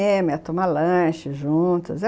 Cinema, ia tomar lanche juntas.